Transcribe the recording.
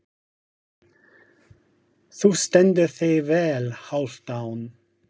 Þú stendur þig vel, Hálfdán!